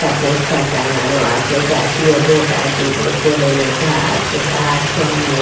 একটা পোস্টার টাঙ্গানো আছে জাতীয় ভোটার দিবস বলে লেখা আছে তার সামনে।